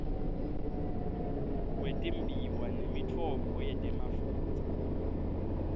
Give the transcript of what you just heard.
wetimbiwa nemitfombo yetemafutsa